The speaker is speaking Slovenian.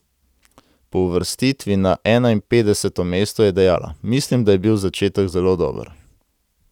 Po uvrstitvi na enainpetdeseto mesto je dejala: 'Mislim, da je bil začetek zelo dober.